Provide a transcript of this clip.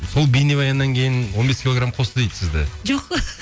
сол бейнебаяннан кейін он бес килограмм қосты дейді сізді жоқ